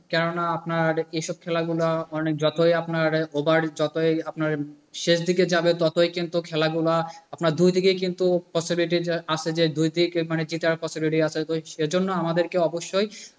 কেননা আপনার এসব খেলাগুলো অনেক যতোই আপনার over যতোই আপনার শেষের দিকে যাবে ততই কিন্তু খেলাগুলা আপনার দুইদিকে কিন্তু possibility টা আছে দুই দিকে জেতার possibility আছে। সেই জন্য আমাদেরকে অবশ্যই,